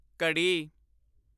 ਘੜੀ